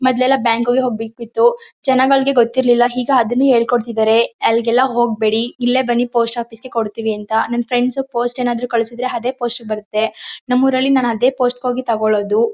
ಮೊದ್ಲೆಲ್ಲಾ ಬ್ಯಾಂಕಿಗೆ ಹೋಗ್ಬೇಕಿತ್ತು. ಜನಗಳಿಗೆ ಗೊತ್ತಿರ್ಲಿಲ ಹೀಗ ಅದುನ್ನು ಹೇಳ್ಕೊಡ್ತಿದಾರೆ. ಅಲ್ಗೇಲ್ಲ ಹೋಗ್ಬೇಡಿ ಇಲ್ಲೆ ಬನ್ನಿ ಪೋಸ್ಟ್ ಆಫೀಸ್ ಗೆ ಕೊಡ್ತಿವಿ ಅಂತ. ನಿಮ್ ಫ್ರೆಂಡ್ಸ್ ಪೋಸ್ಟ್ ಏನಾದ್ರು ಕಲ್ಸದ್ರೆ ಅದೇ ಪೋಸ್ಟ್ ಗೆ ಬರುತ್ತೆ. ನಮೂರಲ್ಲಿ ನಾನ್ ಅದೇ ಪೋಸ್ಟ್ ಗೆ ಹೋಗಿ ತಗೋಳದು.